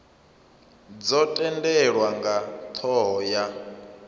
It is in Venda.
dzo tendelwa nga thoho ya